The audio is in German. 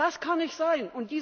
Das kann nicht sein!